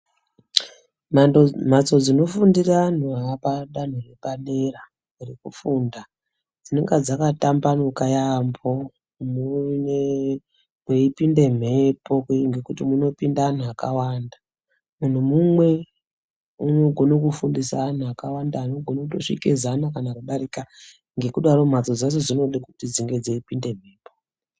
Mhatso dzinofundira antu apadanho repadera rekufunda dzinenge dzakatamabanuka yambo mweipinde mhepo ngekuti munopinde antu akawanda, muntu umwe unogone kufundisa antu akawanda anogone kutosvike zana kana kudarika ngekudaro mhatso dzacho dzinoda kuti dzipinde mhepo.